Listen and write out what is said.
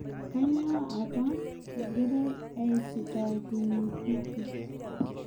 Kanyoo apa eng'irai aisitaakinyie City